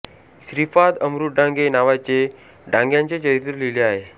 श्रीपाद अमृत डांगे नावाचे डांग्यांचे चरित्र लिहिले आहे